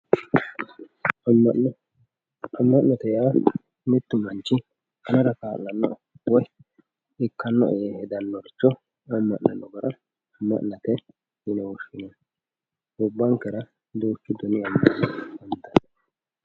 amma'no. amma'note yaa mittu manchi anera kaa'lannoe woy ikkannoe yee hedannoricho amma'nano gara amma'note yine woshshinanni gobbankera duuchu dani amma'no no